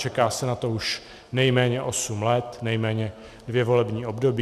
Čeká se na to už nejméně osm let, nejméně dvě volební období.